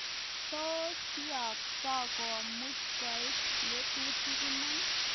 Tos kiotok komuchi koek ngatutirt iman?